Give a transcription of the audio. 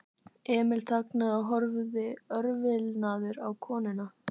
Emil þagnaði og horfði örvilnaður á konuna.